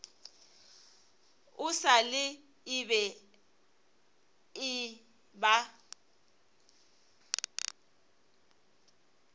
e sa le e eba